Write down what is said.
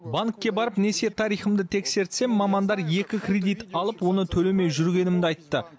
банкке барып несие тарихымды тексертсем мамандар екі кредит алып оны төлемей жүргенімді айтты